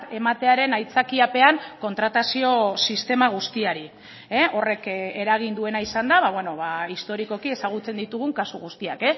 ematearen aitzakiapean kontratazio sistema guztiari horrek eragin duena izan da historikoki ezagutzen ditugun kasu guztiak